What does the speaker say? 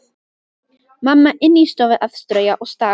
Mamma inni í stofu að strauja og staga.